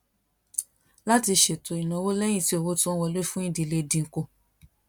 láti ṣètò ìnáwó léyìn tí owó tó ń wọlé fún ìdílé dín kù